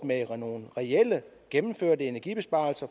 med nogle reelt gennemførte energibesparelser